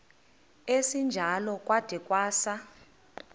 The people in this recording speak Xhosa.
esinjalo kwada kwasa